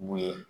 Mun ye